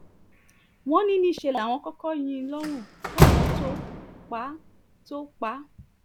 wọ́n ní níṣẹ́ láwọn kọ́kọ́ yín in lọ́rùn káwọn tóo pa tóo pa á